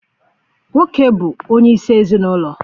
Nwoke bụ onye isi ezinụlọ.